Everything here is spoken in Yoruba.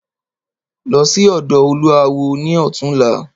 Lọ sí ọ̀dọ̀ olúawo ni ọ̀túnla!